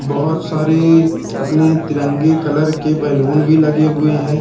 बहोत सारे अपने तिरंगे कलर के बैलून भीं लगे हुए हैं।